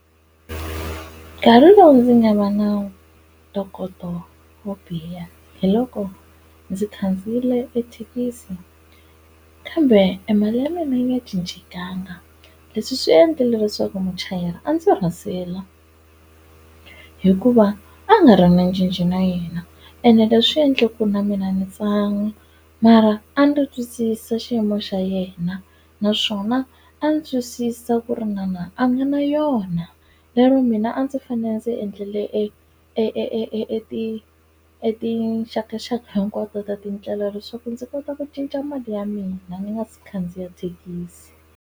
Nkarhi lowu ndzi nga va na ntokoto wo biha hi loko ndzi khandziyile thekisi kambe e mali ya mina yi nga cincekanga leswi swi endlile leswaku muchayeri a ndzi rasela hikuva a nga ri na cinci na yena ene leswi endlaku na mina ndzi tsana mara a ndzi ri twisisa xiyimo xa yena naswona a ndzi twisisa ku ri yena a nga na yona lero mina a ndzi fanele ndzi endlele e e ti e tixakaxaka hinkwato ta tindlela leswaku ndzi kota ku cinca mali ya mina ni nga si khandziya thekisi.